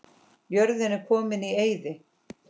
Jörðin er komin í eyði.